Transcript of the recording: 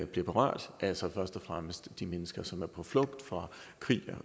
bliver berørt altså først og fremmest de mennesker som er på flugt fra krig og